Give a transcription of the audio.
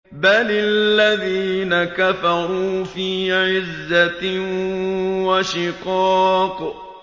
بَلِ الَّذِينَ كَفَرُوا فِي عِزَّةٍ وَشِقَاقٍ